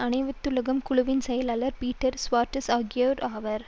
அனைத்துலக குழுவின் செயலாளர் பீட்டர் சுவார்ட்ஸ் ஆகியோர் ஆவர்